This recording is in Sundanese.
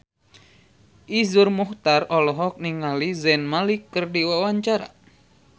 Iszur Muchtar olohok ningali Zayn Malik keur diwawancara